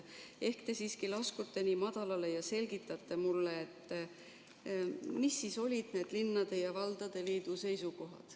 Ehk te siiski laskute nii madalale ja selgitate mulle, missugused olid need linnade ja valdade liidu seisukohad.